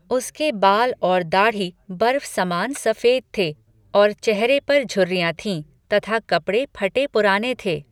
उसके बाल और दाढ़ी ब़र्फसमान स़फेद थे और चेहरे पर झुर्रिमाँ थीं, तथा कपड़े फटे पुराने थे।